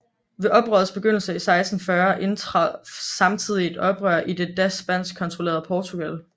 Ved oprørets begyndelse i 1640 indtraf samtidig et oprør i det da spansk kontrollerede Portugal